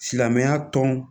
Silamɛya tɔn